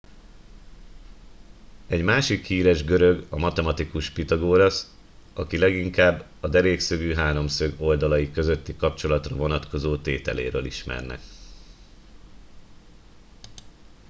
egy másik híres görög a matematikus pitagórasz akit leginkább a derékszögű háromszög oldalai közötti kapcsolatra vonatkozó tételéről ismernek